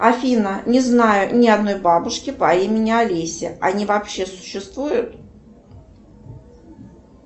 афина не знаю ни одной бабушки по имени олеся они вообще существуют